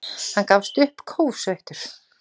Hann gafst upp, kófsveittur.